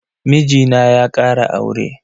Mijina ya kara aure.